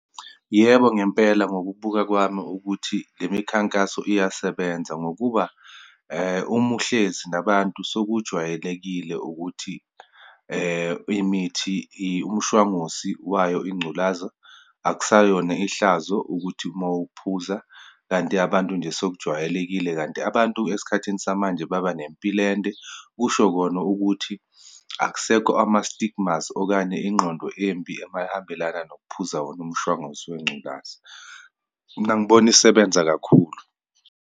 Yebo ngempela, ngokubuka kwami ukuthi le mikhankaso iyasebenza, ngokuba uma uhlezi nabantu sekujwayelekile ukuthi imithi imishwangusi wayo ingculaza, akusayona ihlazo ukuthi uma wuphuza, kanti abantu nje sekujwayelekile. Kanti abantu esikhathini samanje baba nempilo ende, kusho kona ukuthi akusekho ama-stigmas, okanye ingqondo embi emayihambelana nokuphuza wona umshwanguzo wengculaza. Mina, ngibona isebenza kakhulu.